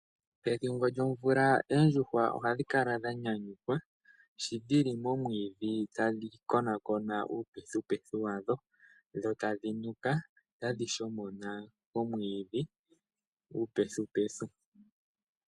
Pethimbo lyomvula oondjuhwa oha dhi kala dha nyanyukwa sho dhili momwiidhi ta dhi konaakona uupethipethi wadho, dho tadhi nuka ta dhi shomona omwiidhi nuupethipethi.